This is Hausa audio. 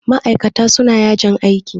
Ma'ikata suna yajin aiki.